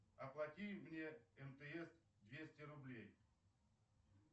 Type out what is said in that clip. оплати мне мтс двести рублей